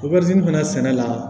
fana sɛnɛ la